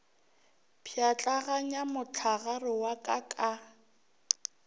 pšhatlaganya mohlagare wa ka ka